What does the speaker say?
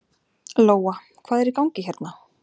Lóa: Hvað er í gangi hérna?